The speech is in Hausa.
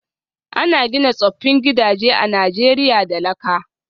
An gina tsoffin gidaje a Najeriya da laka